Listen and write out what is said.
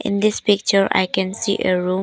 In this picture I can see a room.